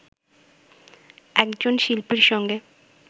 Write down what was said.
একজন শিল্পীর সঙ্গে